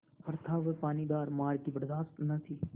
पर था वह पानीदार मार की बरदाश्त न थी